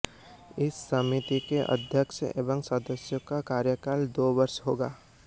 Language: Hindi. इस समिति के अध्यक्ष एवं सदस्यों का कार्यकाल दो वर्ष होगा